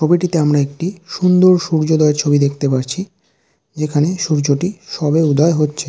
ছবিটিতে আমরা একটি সুন্দর সূর্যোদয়ের ছবি দেখতে পারছি যেখানে সূর্যটি সবে উদয় হচ্ছে।